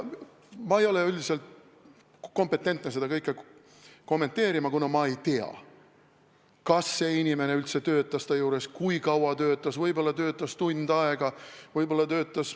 Ma ei ole üldiselt kompetentne seda kõike kommenteerima, kuna ma ei tea, kas see inimene üldse töötas tema juures ega kui kaua ta töötas, võib-olla töötas ta tund aega.